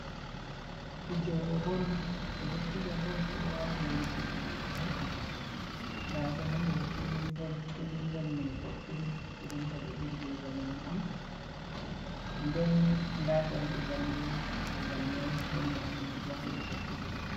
Fijoɓ bol ɓe ɗo fija bol, ɓeɗo wati limse fijogo bol nda be ha nder filim bol, filim bol mai bodɗum, filim bol irim je zamanu'on, nden nda njamɗe njamɗe ha babal mai, nden nda maholbo ha yeso filimbol mai.